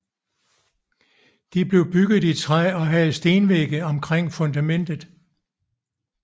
De blev bygget i træ og havde stenvægge omkring fundamentet